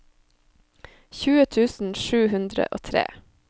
tjue tusen sju hundre og tre